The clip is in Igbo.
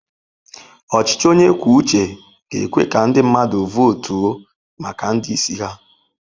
Ọchịchị onye kwuo uche ga-ekwe ka ndị mmadụ votu maka ndị isi ha.